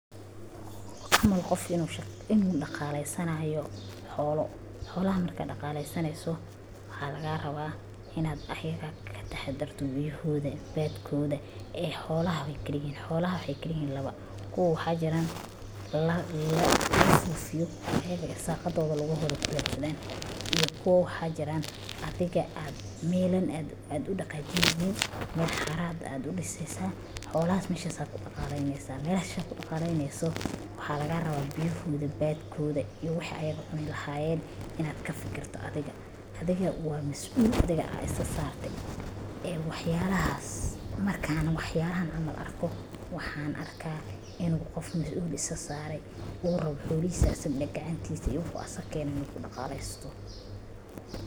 Camal qof inu dhaqaleysanauo xoolo, xoolaha markad dhaqaleysaneysa maxa laga rabaa inad ayaga kadaxarto biyahoda, badkooda ee xoolaha waa yihiin ,xoolaha waxay kala yihiin laba, uwo waxaa jiran la siyo ee irsaqadooda lugu iyo kuwo waxaa jiran adiga melan ad u dhaqaajineynin oo xara ayad udhiseysa, xoolahas melahas ad kudhaqaleyneysa, meshad kudhaqaleyneyso maxa laga rabaa biyahooda badkoda iyo wixi ayaga cuni lahayen ad kafikiryo adiga waa mas'ul adiga ad sisa sarte ee wax yalaha, markan wax yalahan camal arko waxan arka inu qof mas'ul is isa saare uu rabo qof inu gacantiisa iyo wixi asaga kene uu kudhaqaleysto